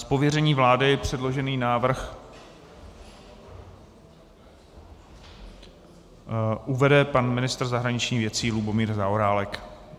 Z pověření vlády předložený návrh uvede pan ministr zahraničních věcí Lubomír Zaorálek.